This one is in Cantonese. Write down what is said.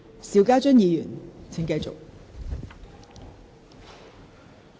邵家臻議員，請繼續發言。